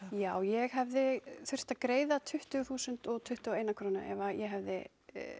já ég hefði þurft að greiða tuttugu þúsund og tuttugu og eina krónu ef ég hefði